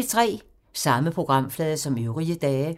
Samme programflade som øvrige dage